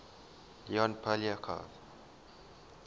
leon poliakov